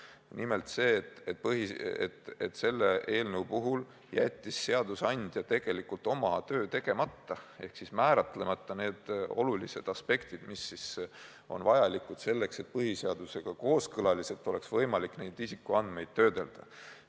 Asi on nimelt selles, et selle eelnõu puhul jättis seadusandja tegelikult oma töö tegemata ehk jättis määratlemata need olulised aspektid, mis on vajalikud selleks, et neid isikuandmeid oleks võimalik põhiseadusega kooskõlas töödelda.